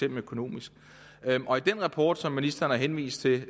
økonomisk i den rapport som ministeren har henvist til